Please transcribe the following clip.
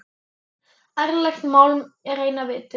Ærlegt mjálm er eina vitið.